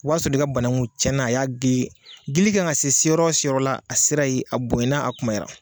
O y'ansɔrɔ i ka bananku tiɲɛnna a y'a dili dili kan ka se yɔrɔ min ma a sera yen, a bonyana a kunbayara.